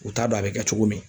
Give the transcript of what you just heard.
U t'a dɔn a bɛ kɛ cogo min.